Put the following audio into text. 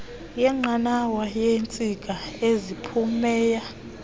yenqanawa yeentsika eziphumela